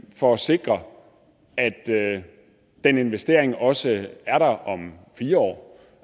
for at sikre at den investering også er der om fire år